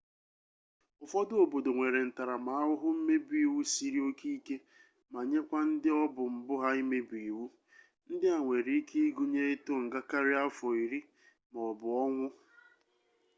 ụfọdụ obodo nwere ntaramahụhụ mmebi iwu siri oke ike ma nyekwa ndị ọbụ mbụ ha imebi iwu ndị a nwere ike ịgụnye ịtụ nga karịa afọ iri maọbụ ọnwụ